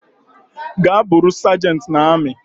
Gaa bụrụi sergent na ami